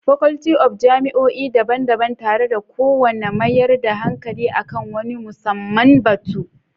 Faculty of jami'o'i daban-daban, tare da kowane mayar da hankali a kan wani musamman batu.